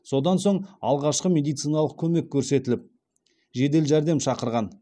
содан соң алғашқы медициналық көмек көрсетіліп жедел жәрдем шақырған